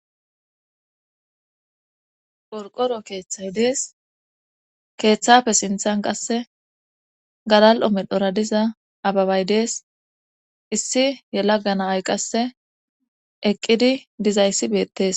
Qorqoro keeththay dees keeththafe sinthan qasse galal7o medhora diza ababay dees issi yelaganaay qasse eqqidi dizayssi beettes